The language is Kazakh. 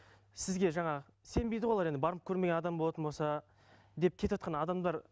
сізге жаңағы сенбейді ғой олар енді барып көрмеген адам болатын болса деп кетіватқан адамдар